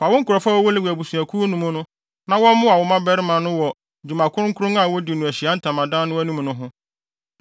Fa wo nkurɔfo a wɔwɔ Lewi abusuakuw no mu na wɔmmoa wo mmabarima no wɔ dwuma kronkron a wodi no Ahyiae Ntamadan no anim no ho.